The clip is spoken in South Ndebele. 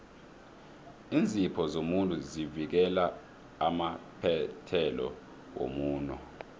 iinzipho zomuntu zivikela amaphethelo womuno